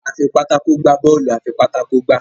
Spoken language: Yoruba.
a fí pátákó gbà Bọ́ọ̀lù afipátákó gbá